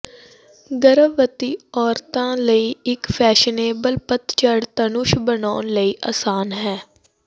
ਗਰਭਵਤੀ ਔਰਤਾਂ ਲਈ ਇੱਕ ਫੈਸ਼ਨੇਬਲ ਪਤਝੜ ਧਨੁਸ਼ ਬਣਾਉਣ ਲਈ ਆਸਾਨ ਹੈ